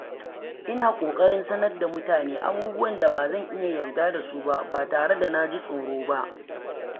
Ina ƙoƙarin sanar da mutane abubuwan da ba zan iya yarda da su ba ba tare da jin tsoro ba.